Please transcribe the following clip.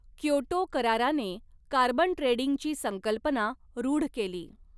Kyoto कराराने carbon ट्रेडिंगची संकल्पना रूढ केली.